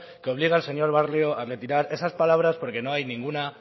que obliga al señor barrio a retirar esas palabras porque no hay ninguna